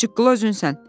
Çıqqıla özünsən.